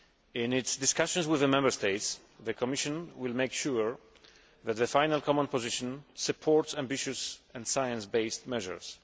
In its discussions with the Member States, the Commission will make sure that the final common position supports ambitious and science based measures.